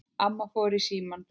Amma fór í símann.